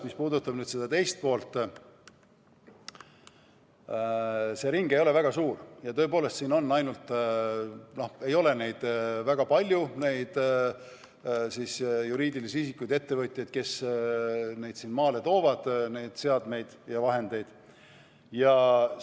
Mis puudutab seda teist poolt, siis tõepoolest see ring ei ole väga suur ja siin ei ole väga palju neid juriidilisi isikuid, ettevõtjaid, kes neid seadmeid ja vahendeid maale toovad.